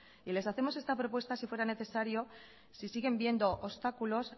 y les hacemos esta propuesta si fuera necesario si siguen viendo obstáculos